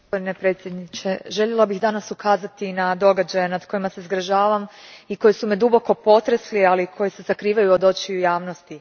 Gospodine predsjedniče, željela bih danas ukazati na događaje nad kojima se zgražavam i koji su me duboko potresli, ali koji se sakrivaju od očiju javnosti.